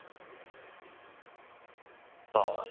বাবা